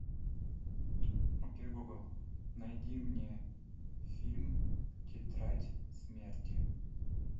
окей гугл найди мне фильм тетрадь смерти